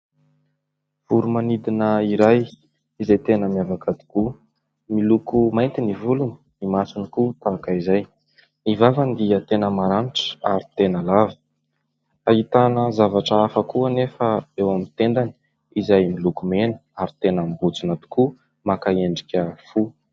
Voro-manidina iray, izay tena miavaka tokoa, miloko mainty ny volony, ny masony koa tahaka izay. Ny vavany dia tena maranitra ary tena lava. Ahitana zavatra hafa koa anefa eo amin'ny tendany, izay miloko mena ary tena mibotsina tokoa, maka endrika fo.